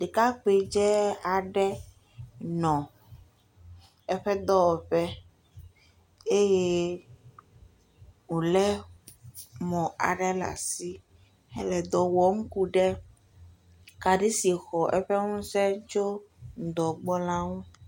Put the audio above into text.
Ɖekakpuindze aɖe nɔ eƒe dɔwɔƒe eye wolé mɔ aɖe le asi, hele dɔ wɔm ku ɖe kaɖi si xɔ eƒe ŋusẽ tso ŋdɔ gbɔ la ŋu.